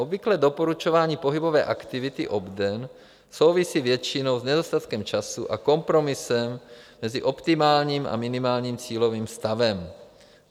Obvyklé doporučování pohybové aktivity obden souvisí většinou s nedostatkem času a kompromisem mezi optimálním a minimálním cílovým stavem.